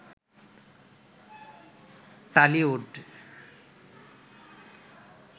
Tollywood